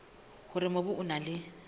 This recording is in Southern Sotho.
hore mobu o na le